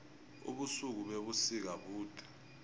ubusuku bebusika bude